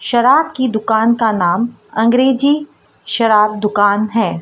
शराब की दुकान का नाम अंग्रेजी शराब दुकान है।